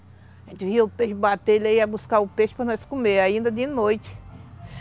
A gente via o peixe bater, ele ia buscar o peixe para nós comermoa ainda de noite.